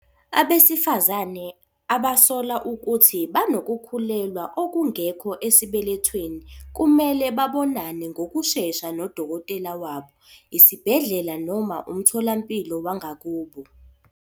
Abesifazane abasola ukuthi banokukhulelwa okungekho esibelethweni kumele babonane ngokushesha nodokotela wabo, isibhedlela noma umtholampilo wangakubo.